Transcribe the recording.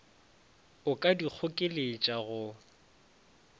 o ka di kgokeletša go